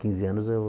Quinze anos eu